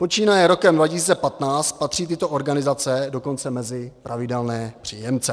Počínaje rokem 2015 patří tyto organizace dokonce mezi pravidelné příjemce.